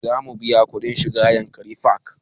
Za mu biya kuɗin shiga yankari park